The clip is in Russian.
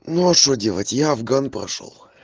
но что делать я афган прошёл